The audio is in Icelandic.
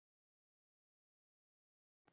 Elsku amma Gógó.